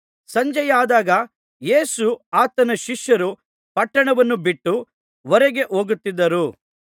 ಸಂಜೆಯಾದಾಗ ಯೇಸುವೂ ಆತನ ಶಿಷ್ಯರೂ ಪಟ್ಟಣವನ್ನು ಬಿಟ್ಟು ಹೊರಗೆ ಹೋಗುತ್ತಿದ್ದರು